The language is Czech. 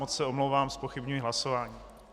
Moc se omlouvám, zpochybňuji hlasování.